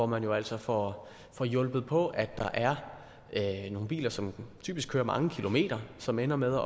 man jo altså får får hjulpet på at der er nogle biler som typisk kører mange kilometer som ender med